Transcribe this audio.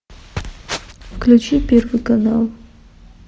включи первый канал